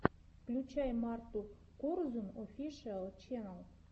включай марту корзун офишиал ченнал